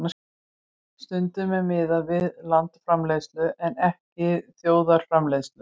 Stundum er miðað við landsframleiðslu en ekki þjóðarframleiðslu.